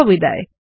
শুভবিদায়